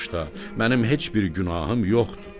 mənim heç bir günahım yoxdur.